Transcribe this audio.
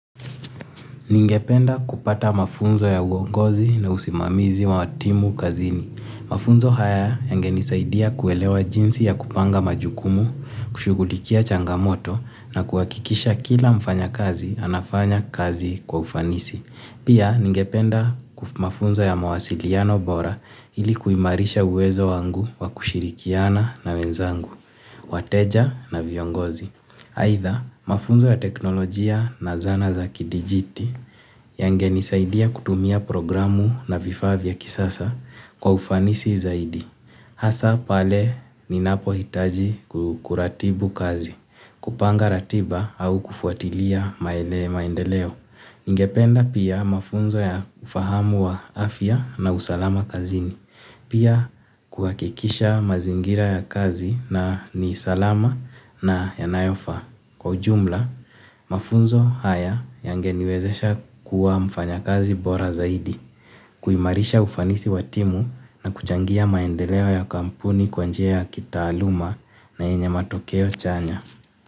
Ningependa kupata mafunzo ya uongozi na usimamizi wa timu kazini. Mafunzo haya yange nisaidia kuelewa jinsi ya kupanga majukumu, kushugulikia changamoto na kuhakikisha kila mfanya kazi, anafanya kazi kwa ufanisi. Pia ningependa mafunzo ya mawasiliano bora ilikuimarisha uwezo wangu wa kushirikiana na wenzangu, wateja na viongozi. Aidha mafunzo ya teknolojia na zana za kidijiti yange nisaidia kutumia programu na vifa vya kisasa kwa ufanisi zaidi. Hasa pale ni napohitaji kuratibu kazi, kupanga ratiba au kufuatilia maendeleo. Ningependa pia mafunzo ya ufahamu wa afya na usalama kazini. Pia kuhakikisha mazingira ya kazi na ni salama na yanayofa. Kwa ujumla, mafunzo haya yangeniwezesha kuwa mfanyakazi bora zaidi, kuimarisha ufanisi watimu na kuchangia maendeleo ya kampuni kwa njia kitaaluma na enye matokeo chanya.